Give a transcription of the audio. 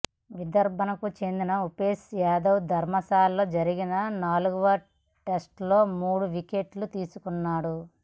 విదర్భకు చెందిన ఉమేశ్ యాదవ్ ధర్మశాలలో జరిగిన నాలుగవ టెస్టులో మూడు వికెట్లు తీసుకున్నాడు